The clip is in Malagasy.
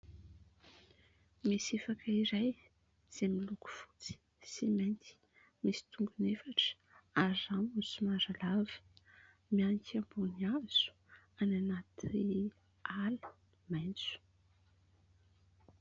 Ny sifaka iray izay miloko fotsy sy mainty, misy tongony efatra ary ny rambony somary lava. Mihanika ambony hazo any anaty ala maitso.